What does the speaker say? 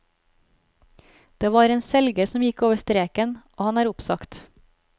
Det var en selger som gikk over streken, og han er oppsagt.